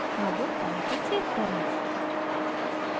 अब file को save करें